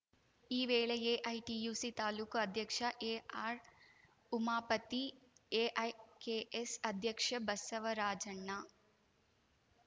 ಈ ವೇಳೆ ಎಐಟಿಯುಸಿ ತಾಲೂಕು ಅಧ್ಯಕ್ಷ ಎಆರ್‌ಉಮಾಪತಿ ಎಐಕೆಎಸ್‌ ಅಧ್ಯಕ್ಷ ಬಸವರಾಜಣ್ಣ